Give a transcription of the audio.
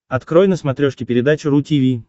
открой на смотрешке передачу ру ти ви